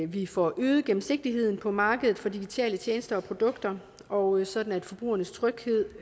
vi får øget gennemsigtigheden på markedet for digitale tjenester og produkter og sådan at forbrugernes tryghed